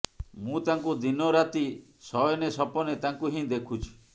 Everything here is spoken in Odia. ମୁଁ ତାଙ୍କୁ ଦିନ ରାତି ଶୟନେ ସପନେ ତାଙ୍କୁ ହିଁ ଦେଖୁଛି